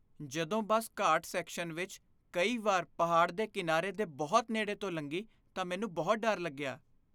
ਜਦੋਂ bus ghat section ਵਿੱਚ ਕਈ ਵਾਰ ਪਹਾੜ ਦੇ ਕਿਨਾਰੇ ਦੇ ਬਹੁਤ ਨੇੜੇ ਤੋਂ ਲੰਘੀ ਤਾਂ ਮੈਨੂੰ ਬਹੁਤ ਡਰ ਲੱਗਿਆ।